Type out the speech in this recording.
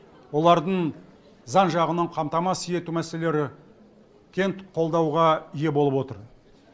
олардың заң жағынан қамтамасыз ету мәселелері кең қолдауға ие болып отыр